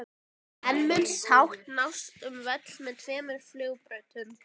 En mun sátt nást um völl með tveimur flugbrautum?